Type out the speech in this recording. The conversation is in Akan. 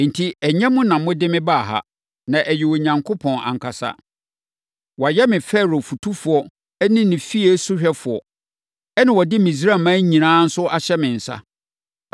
“Enti, ɛnyɛ mo na mode mebaa ha, na ɛyɛ Onyankopɔn ankasa! Wayɛ me Farao fotufoɔ ne ne fie sohwɛfoɔ, ɛnna ɔde Misraiman nyinaa nso ahyɛ me nsa.